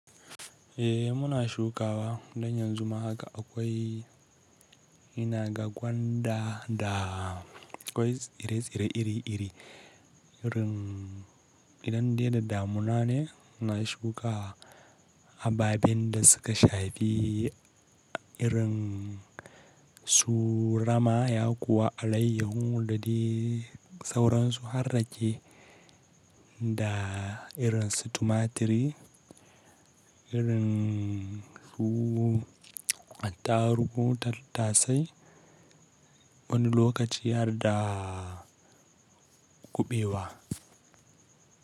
Eh muna shukawa don yanzu ma haka akwai ina ga gwanda da akwai tsire-tsire iri-iri. Irin idan dai da damuna ne ina shuka ababen da suka shafi irin su rama ya kuwa alayyaho da dai sauransu har rake da irin su tumaturi, irin su attarugu tattasai wani lokaci har da kuɓewa.